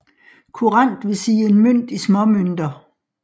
Kurant vil sige en mønt i småmønter